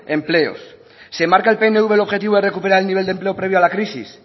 empleos se marca el pnv el objetivo de recuperar el nivel de empleo previo a la crisis